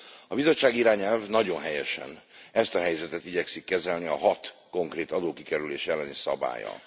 A bizottsági irányelv nagyon helyesen ezt a helyzetet igyekszik kezelni a hat konkrét adókikerülés elleni szabállyal.